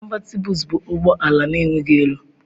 Cọnvatịbụls bụ ụgbọ ala na-enweghị elu.